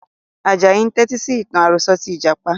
Ajayi ń tẹti sì ìtàn àròsọ̀ tí Ìjàpá